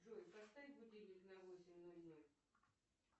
джой поставь будильник на восемь ноль ноль